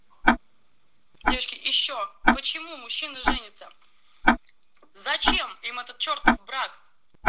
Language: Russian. девушки ещё почему мужчины женятся зачем им этот чертов брак